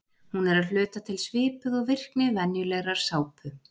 Hún er að hluta til svipuð og virkni venjulegrar sápu.